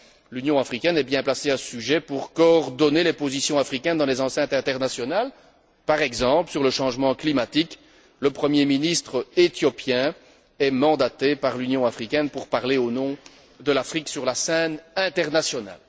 L'Union africaine est bien placée à ce sujet pour coordonner les positions africaines dans les enceintes internationales. Sur le changement climatique, par exemple, le premier ministre éthiopien est mandaté par l'Union africaine pour parler au nom de l'Afrique sur la scène internationale.